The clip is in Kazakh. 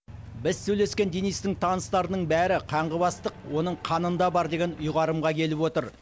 біз сөйлескен денистің таныстарының бәрі қанғыбастық оның қанында бар деген ұйғарымға келіп отыр